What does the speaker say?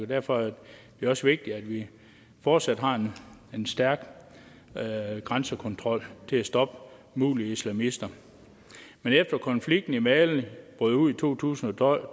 derfor er det også vigtigt at vi fortsat har en stærk grænsekontrol til at stoppe mulige islamister efter konflikten i mali brød ud i to tusind og